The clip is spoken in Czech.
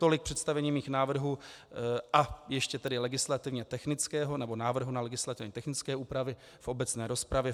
Tolik představení mých návrhů a ještě tedy legislativně technického, nebo návrhu ne legislativně technické úpravy v obecné rozpravě.